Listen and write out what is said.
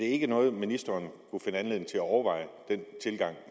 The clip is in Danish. ikke noget ministeren kunne finde anledning til at overveje